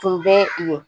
Tun bɛ yen